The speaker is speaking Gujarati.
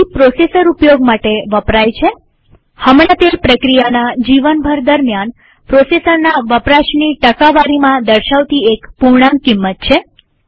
સી પ્રોસેસર ઉપયોગ માટે વપરાય છેહમણાંતે પ્રક્રિયાના જીવનભર દરમ્યાન પ્રોસેસરના વપરાશની ટકાવારીમાં દર્શાવતી એક પૂર્ણાંક કિંમત છે